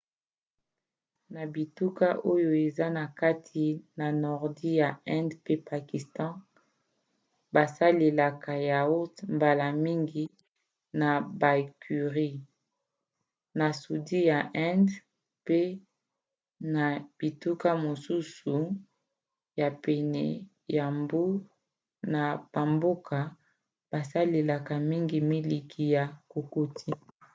na bituka oyo eza na kati na nordi ya inde mpe pakistan basalelaka yaourt mbala mingi na bacurries; na sudi ya inde mpe na bituka mosusu ya pene ya mbu na bamboka basalelaka mingi miliki ya kokoti